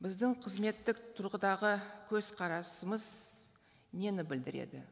біздің қызметтік тұрғыдағы көзқарасымыз нені білдіреді